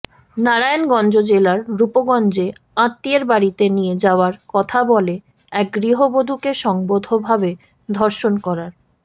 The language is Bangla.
নারায়ণগঞ্জ জেলার রূপগঞ্জে আত্মীয়ের বাড়িতে নিয়ে যাওয়ার কথা বলে এক গৃহবধূকে সংঘবদ্ধভাবে ধর্ষণ করার